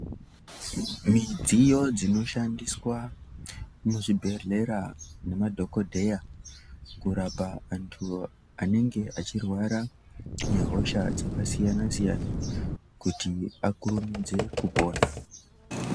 Midziyo dzinoshandiswa muzvibhedhlera nemadhogodheya kurapa antu anenge achirwara ngehosha dzakasiyana -siyana, kuti akurumidze kupona.